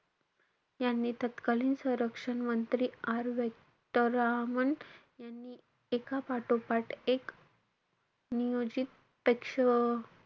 यांनी तत्कालीन संरक्षण मंत्री R व्यंकटरामन यांनी एका-पाठोपाठ एक नियोजित